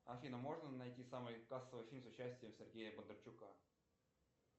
афина можно найти самый кассовый фильм с участием сергея бондарчука